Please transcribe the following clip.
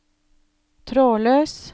trådløs